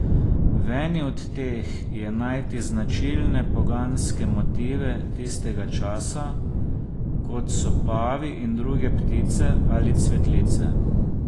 V eni od teh je najti značilne poganske motive tistega časa, kot so pavi in druge ptice ali cvetlice.